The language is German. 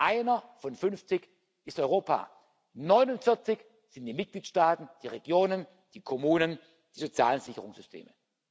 Einer von 50 ist Europa, 49 sind die Mitgliedstaaten, die Regionen, die Kommunen, die sozialen Sicherungssysteme.